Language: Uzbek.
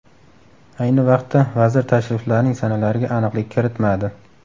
Ayni vaqtda, vazir tashriflarning sanalariga aniqlik kiritmadi.